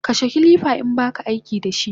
Kashe kilifa inbaka aikidashi!